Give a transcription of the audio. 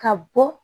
Ka bɔ